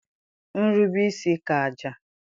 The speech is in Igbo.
nrube-isi ka àjà.